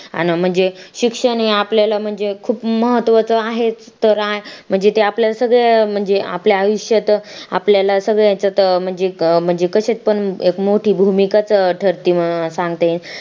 आण म्हणजे शिक्षण हे आपल्याला म्हणजे खूप म्हत्वाचं आहे तर म्हणजे ते आपल्याला सगळ्याला म्हणजे आयुष्यात आपल्याला सगळ्या हेच्यात म्हणजे कशात पण एक मोठी भूमिका ठरते म्हणून सांगते